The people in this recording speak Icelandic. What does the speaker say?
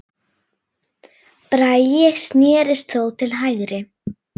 Bragi snérist þó til hægri.